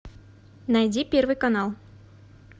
найди первый канал